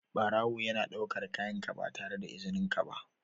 Barawo yana ɗaukar kayanka ba tare da izininka ba.